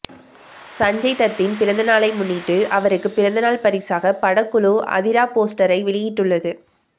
சஞ்சய் தத்தின் பிறந்தநாளை முன்னிட்டு அவருக்கு பிறந்தநாள் பரிசாக படக்குழு அதிரா போஸ்டரை வெளியிட்டுள்ளது